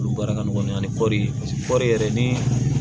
Olu baara ka nɔgɔn ani kɔɔri kɔɔri yɛrɛ ni